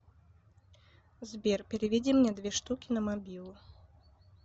сбер переведи мне две штуки на мобилу